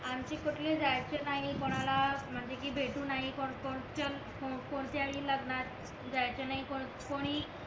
आमचे कुटले जायचे नाही कोणाला म्हणजे कि भेटू नाय कोणत्याही लग्नात जायचे नाही कोणी